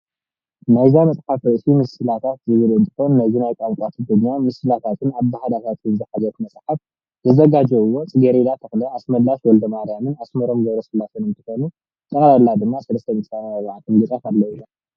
ናይዛ መፅሓፍ ርእሲ ምስላታት ዝብል እንትኾን ነዚ ናይ ቋንቋ ትግርኛ ምስላታትን ኣበሃህላታትን ዝሓዘት መፅሓፍ ዘዛጋጀውዋ ፅገሬዳ ተክለ፣ ኣስመላሽ ወልደማርያምን ኣስመሮም ገብረስላሴን አንትኾኑ ጠቅላላ ድማ 334 ገፃት ኣለውዋ።